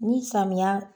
Ni samiya